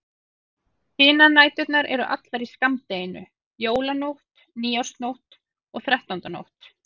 Hinar næturnar eru allar í skammdeginu: Jólanótt, nýársnótt og þrettándanótt.